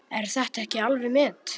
Er þetta ekki alveg met!